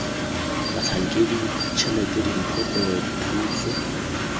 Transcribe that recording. batlhankedi tshelete dimpho gongwe dithuso